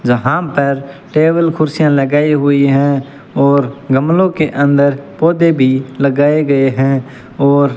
जहां पर टेबल कुर्सियां लगाई हुई है और गमलो के अंदर पौधे भी लगाए गए है और --